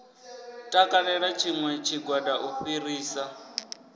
takalela tshiṋwe tshigwada u fhirisa